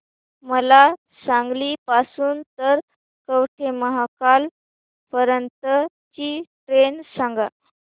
मला सांगली पासून तर कवठेमहांकाळ पर्यंत ची ट्रेन सांगा